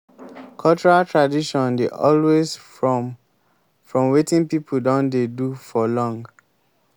cultural tradition dey always from from wetin pipo don dey do for long